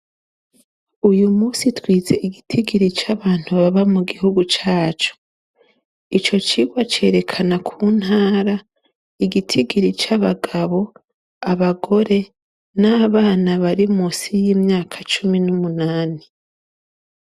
Uyu munsi twize igitigiri c' abantu baba mu gihugu cacu. Ico citwa cerekana ku ntara, igitigiri c' abagabo, abagore, n' abana bari munsi y' imyaka cumi n' umunani .